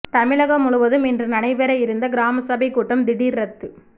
தமிழகம் முழுவதும் இன்று நடைபெற இருந்த கிராம சபைக் கூட்டம் திடீா் ரத்து